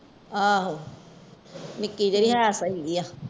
ਆਹੋ ਨਿਕੀ ਜਿਹੜੇ ਹੈ ਸਹੀ ਆ